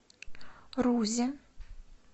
рузе